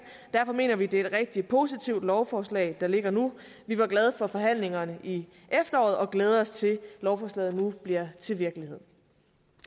derfor mener vi det er et rigtig positivt lovforslag der ligger nu vi var glade for forhandlingerne i efteråret og glæder os til at lovforslaget nu bliver til virkelighed